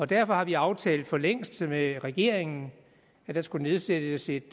derfor har vi aftalt for længst med regeringen at der skal nedsættes et